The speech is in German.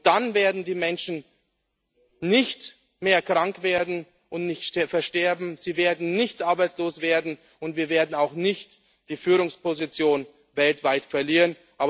Dann werden die Menschen nicht mehr krank werden und nicht versterben, sie werden nicht arbeitslos werden und wir werden auch nicht die Führungsposition weltweit verlieren.